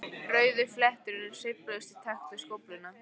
Rauðu flétturnar sveifluðust í takt við skófluna.